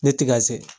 Ne ti ka se